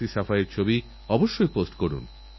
সেইজন্যনিয়ম মেনে অ্যান্টিবায়োটিকের ব্যবহার করা উচিত